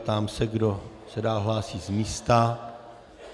Ptám se, kdo se dál hlásí z místa.